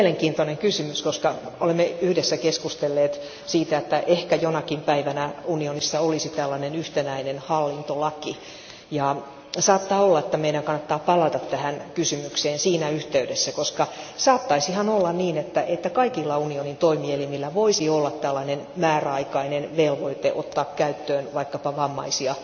Tämä on mielenkiintoinen kysymys, koska olemme yhdessä keskustelleet siitä, että ehkä jonakin päivänä unionissa olisi tällainen yhtenäinen hallintolaki, ja saattaa olla, että meidän kannattaa palata tähän kysymykseen siinä yhteydessä, koska saattaisihan olla niin, että kaikilla unionin toimielimillä voisi olla tällainen määräaikainen velvoite ottaa käyttöön vaikkapa vammaisia